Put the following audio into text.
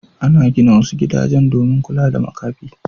Ana gina wasu gidajen domin kula da makafi.